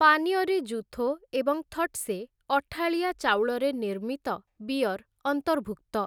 ପାନୀୟରେ ଜୁଥୋ ଏବଂ ଥଟ୍ସେ, ଅଠାଳିଆ ଚାଉଳରେ ନିର୍ମିତ ବିୟର ଅନ୍ତର୍ଭୁକ୍ତ ।